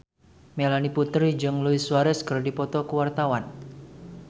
Melanie Putri jeung Luis Suarez keur dipoto ku wartawan